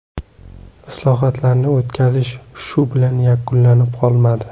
Islohotlarni o‘tkazish shu bilan yakunlanib qolmadi.